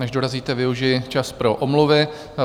Než dorazíte, využiji čas pro omluvy.